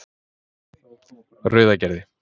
Rauðagerði